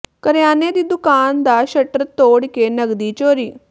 ਕਰਿਆਨੇ ਦੀ ਦੁਕਾਨ ਦਾ ਸ਼ਟਰ ਤੋੜ ਕੇ ਨਕਦੀ ਚੋਰੀ